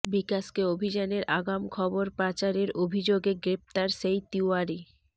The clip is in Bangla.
বিকাশকে অভিযানের আগাম খবর পাচারের অভিযোগে গ্রেফতার সেই তিওয়ারি